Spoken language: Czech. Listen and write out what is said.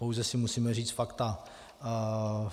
Pouze si musíme říct fakta.